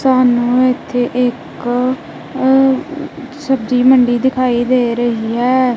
ਸਾਨੂੰ ਇੱਥੇ ਇੱਕ ਸਬਜੀ ਮੰਡੀ ਦਿਖਾਈ ਦੇ ਰਹੀ ਹੈ।